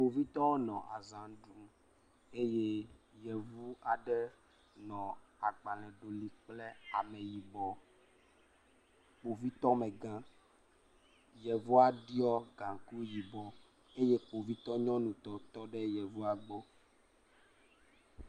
Kpovitɔwo nɔ azã ɖum eye yevu aɖe nɔ agbalẽ ɖolim kple ame yibɔ. Kpovitɔmegã, yevua ɖɔ gaŋkui yibɔ eye kpovitɔ nyɔnutɔ tɔ ɖe yevua gbɔ.